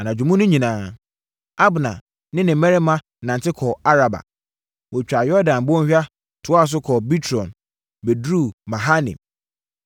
Anadwo mu no nyinaa, Abner ne ne mmarima nante kɔɔ Araba. Wɔtwaa Yordan bɔnhwa, toaa so kɔɔ Bitron, bɛduruu Mahanaim.